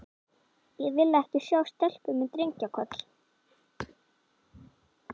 Ég vil ekki sjá stelpu með drengja- koll.